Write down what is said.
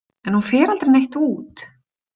En hún fer aldrei neitt út.